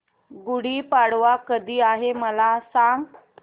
गुढी पाडवा कधी आहे मला सांग